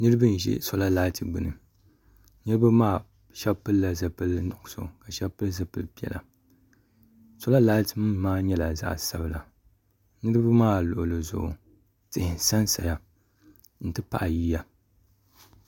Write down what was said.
niraba n ʒi soola laati gbuni niraba maa shab pilila zipili nuɣso ka shab pili zipili piɛla soola laati nim maa nyɛla zaɣ sabila niraba maa luɣuli zuɣu tihi n sansaya n ti pahi yiya